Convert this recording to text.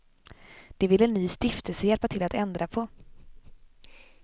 Det vill en ny stiftelse hjälpa till att ändra på.